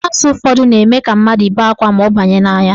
Ịyabasị ụfọdụ na-eme ka mmadụ bee akwa ma ọ banye n'anya.